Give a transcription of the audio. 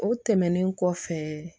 O tɛmɛnen kɔfɛ